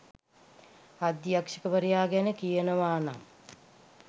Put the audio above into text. අධ්‍යක්ෂකවරයා ගැන කියනවානම්